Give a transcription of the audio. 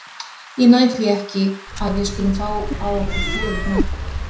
Ég næ því ekki að við skulum fá á okkur fjögur mörk.